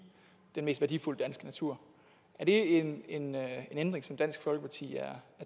den mest værdifulde danske natur er det en ændring som dansk folkeparti er